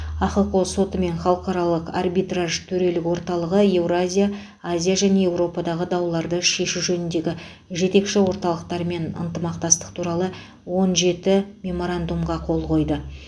ахқо соты мен халықаралық арбитраж төрелік орталығы еуразия азия және еуропадағы дауларды шешу жөніндегі жетекші орталықтармен ынтымақтастық туралы он жетінші меморандумға қол қойды